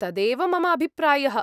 तदेव मम अभिप्रायः।